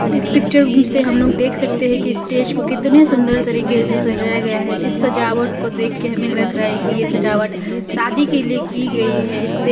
इस पिक्चर से हम लोग देख सकते है कि स्टेज को कितने सुंदर तरीके से सजाया गया है इस सजावट को देख के हमें लग रहा है कि यह सजावट शादी के लिए की गई है इस दि --